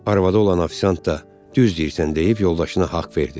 Arvadı olan ofisiant da düz deyirsən deyib yoldaşına haqq verdi.